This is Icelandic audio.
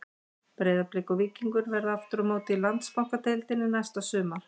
Breiðablik og Víkingur verða aftur á móti í Landsbankadeildinni næsta sumar.